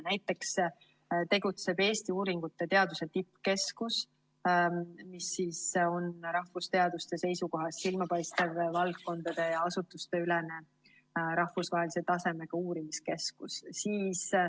Näiteks tegutseb Eesti-uuringute tippkeskus, mis on rahvusteaduste seisukohast silmapaistev valdkondade ja asutuste ülene rahvusvahelise tasemega uurimiskeskus.